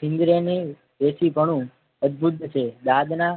જીભની દેશીપનું અદભુદ છે દાદના